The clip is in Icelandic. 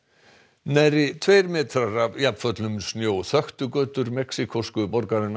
nærri tveir metrar af snjó þöktu götur mexíkósku borgarinnar